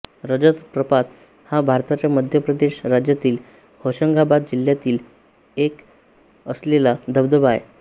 रजत प्रपात हा भारताच्या मध्य प्रदेश राज्यातील होशंगाबाद जिल्ह्यात असलेला धबधबा आहे